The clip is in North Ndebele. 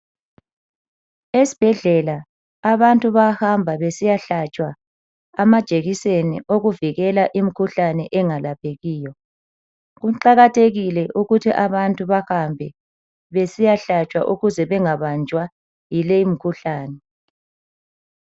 Esibhedlela abantu bayahamba besiyahlatshwa amajikiseni wokuvikilela imikhuhlane engayelaphekiyo. Kuqakathekile ukuthi abantu bahambe besiyahlatshwa ukuze bengabanjwa yileyi mikhuhlane.